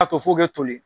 A to fo ka toli